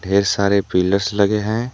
ढेर सारे पिलर्स लगे हैं।